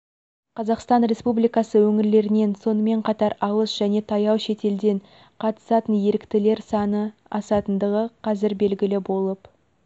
қазақстан республикасы өңірлерінен сонымен қатар алыс және таяу шетелден қатысатын еріктілер саны асатындығы қазір белгілі болып